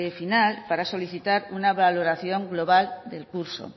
final para solicitar una valoración global del curso